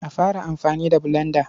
A fara amfani da bulanda.